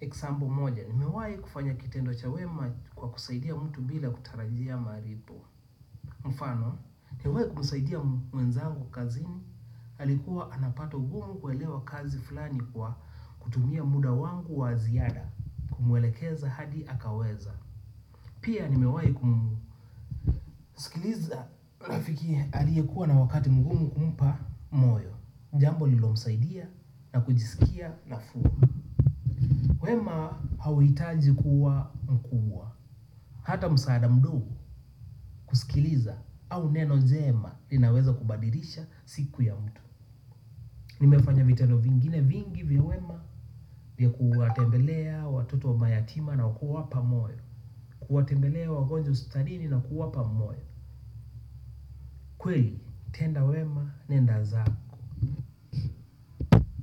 example moja. Nimewai kufanya kitendo cha wema kwa kusaidia mtu bila kutarajia malipo. Mfano, nimewai kumusaidia mwenzangu kazini, alikuwa anapata ugumu kuelewa kazi fulani kwa kutumia muda wangu wa ziada. Kumwelekeza hadi akaweza. Pia nimewai kumusikiliza na fikiria aliyekuwa na wakati mgumu kumpa moyo. Jambo lililo msaidia na kujisikia nafuu wema hauitaji kuwa mkubwa hata msaada mdogo kusikiliza au neno jema linaweza kubadilisha siku ya mtu nimefanya vitendo vingine vingi vya wema vya kuwatembelea watoto wa mayatima na kuwapa moyo kuwatembelea wagonjwa hospitalini na kuwapa moyo kweli, tenda wema nenda zako.